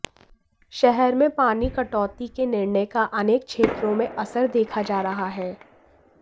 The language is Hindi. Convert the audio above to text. शहर में पानी कटौती के निर्णय का अनेक क्षेत्रों में असर देखा जा रहा है